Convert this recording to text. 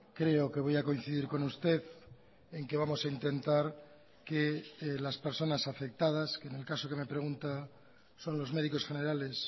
creo que voy a coincidir con usted en que vamos a intentar que las personas afectadas que en el caso que me pregunta son los médicos generales